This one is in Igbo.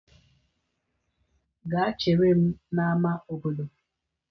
Gaa chere m n'ámá obodo!